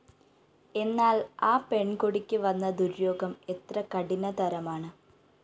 എന്നാല്‍ ആ പെണ്‍ കൊടിക്ക് വന്ന ദുര്യോഗം എത്ര കഠിനതരമാണ്